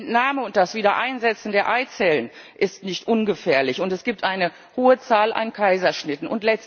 Die Entnahme und das Wiedereinsetzen der Eizellen sind nicht ungefährlich, und es gibt eine hohe Zahl an Kaiserschnitten.